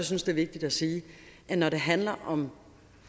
synes det er vigtigt at sige at når det handler om